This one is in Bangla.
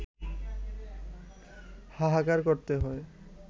হাহাকার করতে হয়